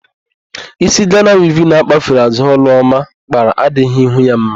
Ísí Gana wivin akpafere àzụ́ Ọlụọma kpara adỊghỊ ihu ya mma.